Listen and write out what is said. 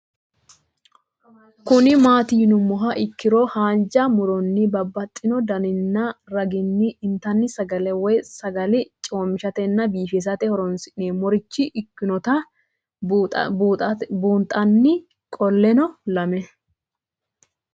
Kuni mati yinumoha ikiro hanja muroni babaxino daninina ragini intani sagale woyi sagali comishatenna bifisate horonsine'morich ikinota bunxana qoleno lame?